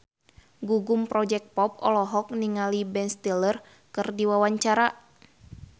Gugum Project Pop olohok ningali Ben Stiller keur diwawancara